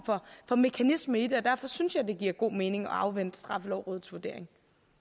for mekanisme i det og derfor synes jeg det giver god mening at afvente straffelovrådets vurdering